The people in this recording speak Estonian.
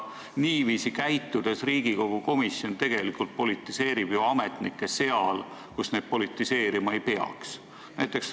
Niiviisi käitudes Riigikogu komisjon tegelikult ju politiseerib ametnikke seal, kus neid politiseerima ei peaks.